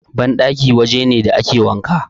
Banɗaki waje ne da ake wanka.